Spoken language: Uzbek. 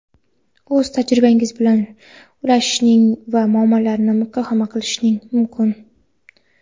o‘z tajribangiz bilan ulashishingiz va muammolarni muhokama qilishingiz mumkin.